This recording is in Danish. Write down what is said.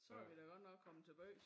Så er vi da godt nok kommet til bys